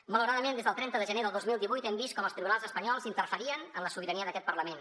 malauradament des del trenta de gener del dos mil divuit hem vist com els tribunals espanyols interferien en la sobirania d’aquest parlament